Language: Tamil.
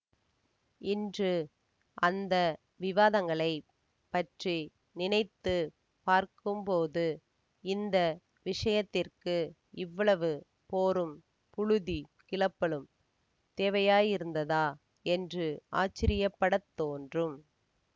இன்று அந்த விவாதங்களைப் பற்றி நினைத்து பார்க்கும்போது இந்த விஷயத்திற்கு இவ்வளவு போரும் புழுதி கிளப்பலும் தேவையாயிருந்ததா என்று ஆச்சரியப்படத் தோன்றும்